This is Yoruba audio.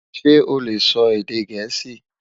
ṣé ole sò èdè gèésì?